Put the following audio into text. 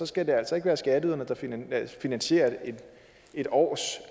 skal der altså ikke være skatteyderne der finansierer et års